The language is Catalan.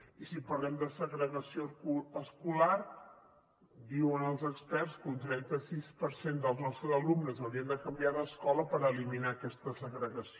i si parlem de segregació escolar diuen els experts que un trenta sis per cent dels nostres alumnes haurien de canviar d’escola per eliminar aquesta segregació